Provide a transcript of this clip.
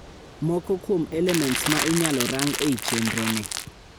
Moko kuom elements ma inyalo rang ei chendro ni